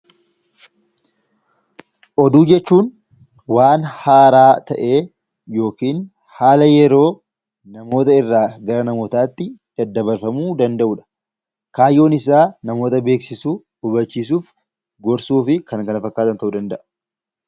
Oduu jechuun waan haaraa ta'ee yookiin haala yeroo namoota irraa gara namotaa tti daddabarfamuu danda'u dha. Kaayyoon isaa namoota beeksisuu, hubachiisuuf, gorsuu fi kan kana fakkaatan ta'uu danda'a.